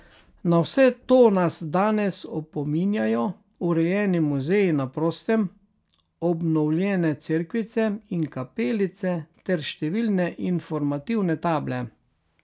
Na vse to nas danes opominjajo urejeni muzeji na prostem, obnovljene cerkvice in kapelice ter številne informativne table.